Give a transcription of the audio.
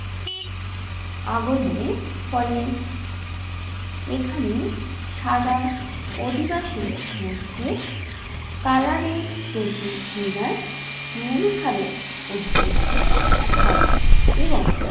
আগমনের ফলে এখানে সাদা অধিবাসীদের মধ্যে কালাদের প্রতি ঘৃণায় মনোভাবের উদ্যোগ হয় এবং